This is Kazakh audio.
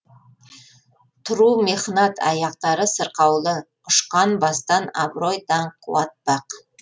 тұру мехнат аяқтары сырқаулы ұшқан бастан абырой даңқ қуат бақ